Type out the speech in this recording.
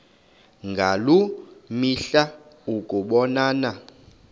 ngaloo mihla ukubonana